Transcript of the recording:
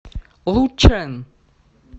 лучэн